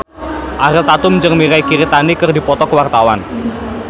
Ariel Tatum jeung Mirei Kiritani keur dipoto ku wartawan